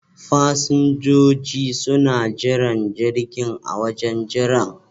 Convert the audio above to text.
Fasinjoji suna jiran jirgin a wajen jiran.